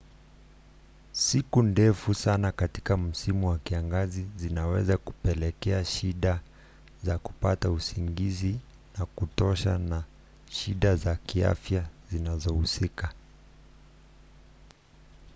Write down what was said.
siku ndefu sana katika msimu wa kiangazi zinaweza kupelekea shida za kupata usingizi wa kutosha na shida za kiafya zinazohusika